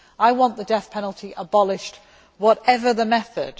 I want the death penalty abolished, whatever the method.